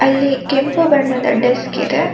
ಇಲ್ಲಿ ಕೆಂಪು ಬಣ್ಣದ ಡಸ್ಕ್ ಇದೆ.